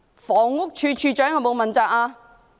房屋署署長有否問責？